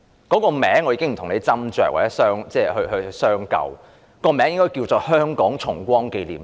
假日名稱我不跟建制派議員斟酌或商究，但其實這天應該稱作香港重光紀念日。